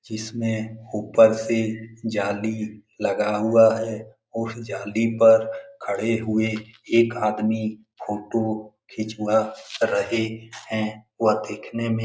जिसमें ऊपर से जाली लगा हुआ है। उस जाली पर खड़े हुए एक आदमी फ़ोटो खिंचवा रहे है व देखने में --